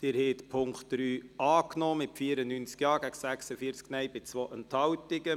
Sie haben den Punkt 3 als Motion angenommen mit 94 Ja- gegen 46 Nein-Stimmen bei 2 Enthaltungen.